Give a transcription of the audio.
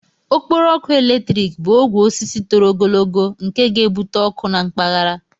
Okporo ọkụ eletrik bụ ogwe osisi toro ogologo nke ga-ebute ọkụ na mpaghara.